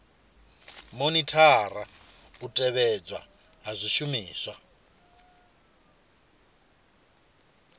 monithara u tevhedzelwa ha zwishumiswa